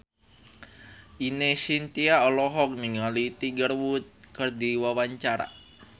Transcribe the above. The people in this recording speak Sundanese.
Ine Shintya olohok ningali Tiger Wood keur diwawancara